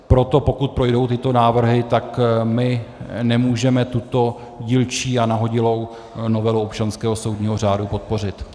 Proto pokud projdou tyto návrhy, tak my nemůžeme tuto dílčí a nahodilou novelu občanského soudního řádu podpořit.